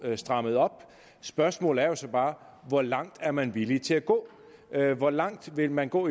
strammet op spørgsmålet er jo så bare hvor langt er man villig til at gå hvor langt vil man gå